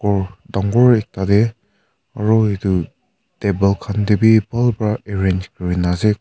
ghor dangor ekta de aro etu table khan de b bhal para arrange kuri ase.